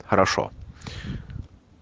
хорошо